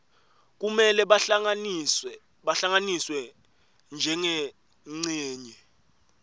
kumele bahlanganiswe njengencenye